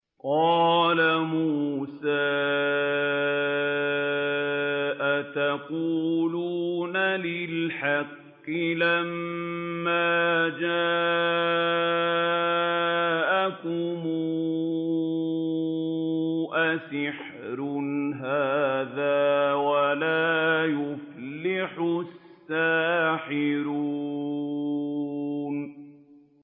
قَالَ مُوسَىٰ أَتَقُولُونَ لِلْحَقِّ لَمَّا جَاءَكُمْ ۖ أَسِحْرٌ هَٰذَا وَلَا يُفْلِحُ السَّاحِرُونَ